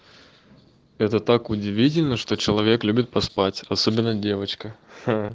это так удивительно что человек любит поспать особенно девочка